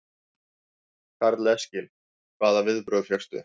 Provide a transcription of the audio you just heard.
Karl Eskil: Hvaða viðbrögð fékkstu?